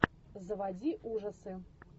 заводи ужасы